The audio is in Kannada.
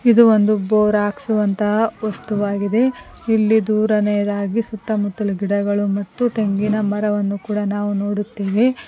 ಇದು ಒಂದು ಬೋರ್ ಹಾಕ್ಸುವಂತಹ ವಸ್ತುವಾಗಿದೆ ಇಲ್ಲಿ ದುರನೇದಾಗಿ ಸುತ್ತ ಮುತ್ತಲು ಗಿಡಗಳು ಮತ್ತು ಟೆಂಗಿನ ಮರವನ್ನು ಕೂಡ ನಾವು ನೋಡುತ್ತೇವೆ.